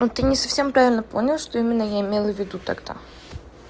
это не совсем правильно понял что именно я имел в виду тогда